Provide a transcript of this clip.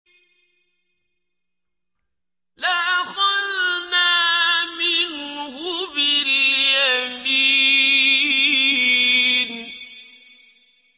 لَأَخَذْنَا مِنْهُ بِالْيَمِينِ